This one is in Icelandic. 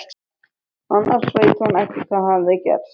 Annars veit hún ekki hvað hefði gerst.